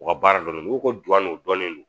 U ka baara dɔn n'i ko ko duwawu n'o dɔnnen don